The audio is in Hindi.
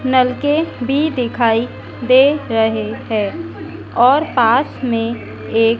नलके भी दिखाई दे रहे है और पास में एक--